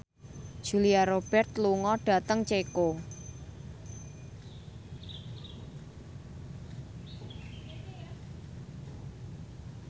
Julia Robert lunga dhateng Ceko